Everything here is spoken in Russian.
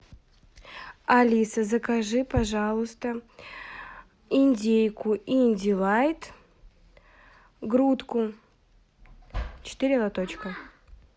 алиса закажи пожалуйста индейку индилайт грудку четыре лоточка